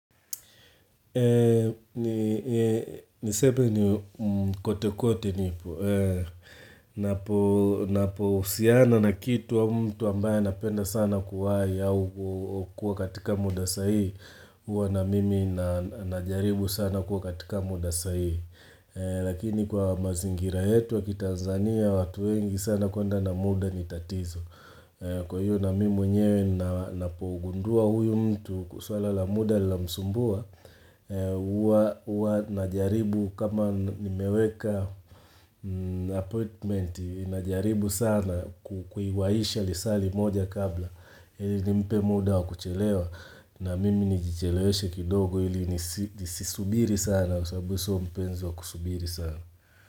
Ni sebe ni kote kote nipo, napo husiana na kitu wa mtu ambaya napenda sana kuwai au kuwa katika muda sahii, huwa na mimi na najaribu sana kuwa katika muda sahii, lakini kwa mazingira yetu waki Tanzania, watu wengi sana konda na muda ni tatizo. Kwa hiyo na mi mwenyewe napougundua huyu mtu kusuala la muda la msumbua Uwa najaribu kama nimeweka appointment Inajaribu sana kuiwaisha lisali moja kabla Ili ni mpe muda wa kuchelewa na mimi nijicheleweshe kidogo ili nisisubiri sana Kusabuso mpenzi wa kusubiri sana.